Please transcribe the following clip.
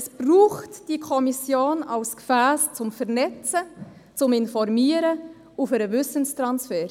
Es braucht die Kommission als Gefäss zum Vernetzen, zum Informieren und für den Wissenstransfer.